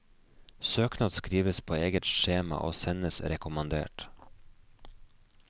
Søknad skrives på eget skjema og sendes rekommandert.